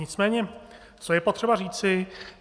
Nicméně co je potřeba říci.